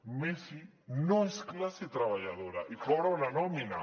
messi no és classe treballadora i cobra una nòmina